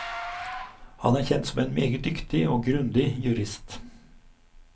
Han er kjent som en meget dyktig og grundig jurist.